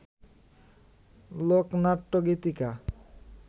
লোকনাট্য, গীতিকা